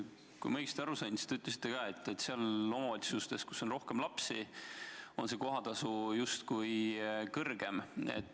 Kui ma õigesti aru sain, siis te ütlesite, et omavalitsustes, kus on rohkem lapsi, on kohatasu justkui kõrgem.